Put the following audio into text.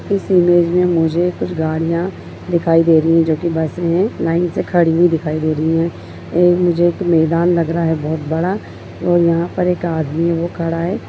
इस इमेज में मुझे कुछ गाड़ियाँ दिखाई दे रही हैं जोकि बस में लाइन से खड़ी हुई दिखाई दे रही हैं और मुझे मैदान लग रहा है बोहोत बड़ा और यहाँ पर एक आदमी ओ खड़ा है ।